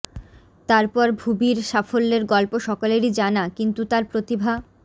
তারপরে ভুবির সাফল্যের গল্প সকলেরই জানা কিন্তু তার প্রতিভা